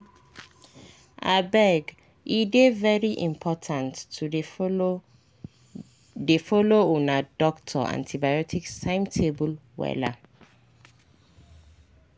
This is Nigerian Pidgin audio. abege dey very important to dey follow dey follow una doctor antibiotics timetable wella.